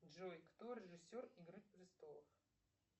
джой кто режиссер игры престолов